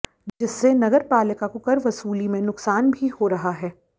जिससे नगर पालिका को कर वसूली में नुकसान भी हो रहा है